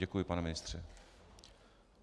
Děkuji, pane ministře.